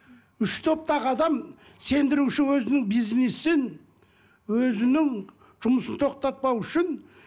үш топтағы адам сендіруші өзінің бизнесін өзінің жұмысын тоқтатпау үшін